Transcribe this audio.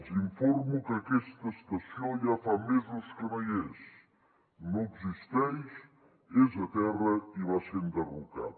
els informo que aquesta estació ja fa mesos que no hi és no existeix és a terra i va ser enderrocada